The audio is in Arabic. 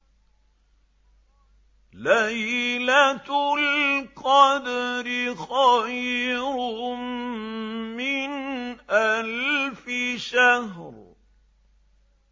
لَيْلَةُ الْقَدْرِ خَيْرٌ مِّنْ أَلْفِ شَهْرٍ